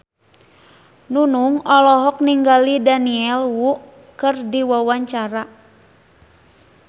Nunung olohok ningali Daniel Wu keur diwawancara